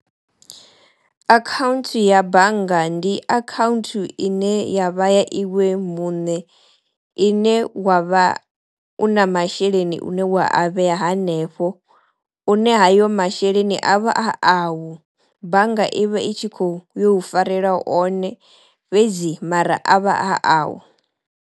Akhaunthu ya bannga ndi akhaunthu ine ya vha ya iwe muṋe, ine wa vha u na masheleni une wa a vheya hanefho une hayo masheleni a vha a awu. Bannga i vha i tshi kho yo u farela one fhedzi mara a vha a au.